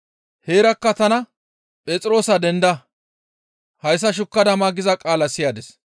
Heerakka tana, ‹Phexroosa denda! Hayssa shukkada ma› giza qaala siyadis.